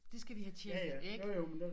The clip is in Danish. Det skal vi have tjekket ikke